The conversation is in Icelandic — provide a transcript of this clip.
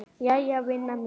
Jæja vina mín.